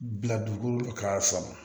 Bila dugukolo ka sama